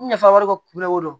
Nafa wɛrɛ ko kunna ko don